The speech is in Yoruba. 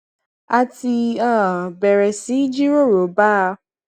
a ti um bèrè sí í jíròrò bá a